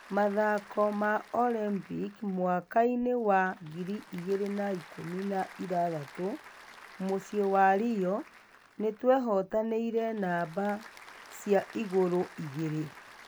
Mathako ma Olympic mwaka-ĩnĩ wa ngiri igĩri na ikũmi na ithathatũ muciĩ wa rio, nĩ twehotanĩre namba cia igũrũ igĩrĩ